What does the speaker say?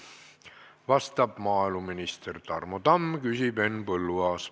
Vastab maaeluminister Tarmo Tamm, küsib Henn Põlluaas.